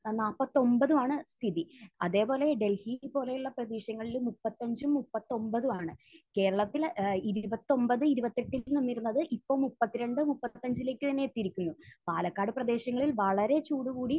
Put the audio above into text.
ഏഹ് നാല്പത്തിയൊൻപതുമാണ് സ്ഥിതി. അതേപോലെ ഡൽഹി പോലെയുള്ള പ്രദേശങ്ങളിലും മുപ്പത്തിയഞ്ചും മുപ്പത്തിയൊൻപതുമാണ്. കേരളത്തിൽ ഏഹ് ഇരുപത്തിയൊൻപത് ഇരുപത്തിയെട്ടിൽ നിന്നിരുന്നത് ഇപ്പോൾ മുപ്പത്തിരണ്ട് മുപ്പത്തിയഞ്ചിലേക്ക് തന്നെ എത്തിയിരിക്കുന്നു. പാലക്കാട് പ്രദേശങ്ങളിൽ വളരെ ചൂട് കൂടി.